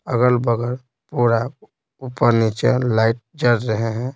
अगल-बगल पूरा ऊपर नीचे लाइट जड़ रहे हैं।